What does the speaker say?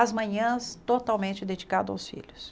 As manhãs totalmente dedicado aos filhos.